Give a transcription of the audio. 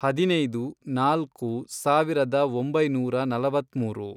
ಹದಿನೈದು, ನಾಲ್ಕು, ಸಾವಿರದ ಒಂಬೈನೂರ ನಲವತ್ಮೂರು